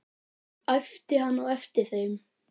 æpti hann á eftir þeim.